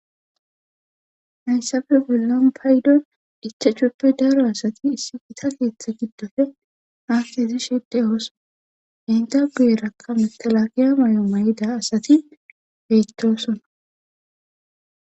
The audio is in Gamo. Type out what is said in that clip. hayssafe bollan paydon icha chuppe daaro asati issi ita keeththe giddofe haakhezi shedde oosona endabuyerakka mitalakiya may7o may7ida asati beyttosona